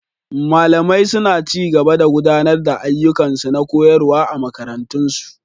Malamai suna ci gaba da gudanar da ayyukansu na koyarwa a makarantun su.